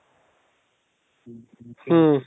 ಮ್